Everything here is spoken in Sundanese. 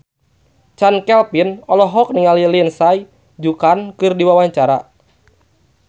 Chand Kelvin olohok ningali Lindsay Ducan keur diwawancara